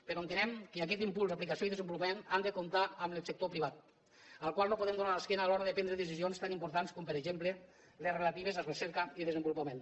però entenem que aquest impuls i desenvolupament han de comptar amb el sector privat al qual no podem donar l’esquena a l’hora de prendre decisions tan importants com per exemple les relatives a recerca i desenvolupament